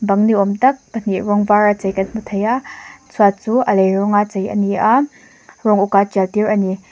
bang ni awm tak pahnih rawng var a chei kan hmu thei a chhuat chu a lei rawng a chei a ni a rawng uk a tial tir ani.